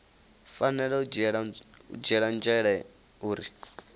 fanela u dzhielwa nzhele uri